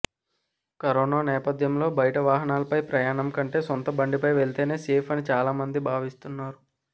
corona నేపథ్యంలో బయటి వాహనాలపై ప్రయాణం కంటే సొంత బండిపై వెళ్తేనే సేఫ్ అని చాలా మంది భావిస్తున్నారు